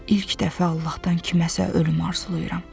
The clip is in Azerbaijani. İlk dəfə Allahdan kiməsə ölüm arzulayıram.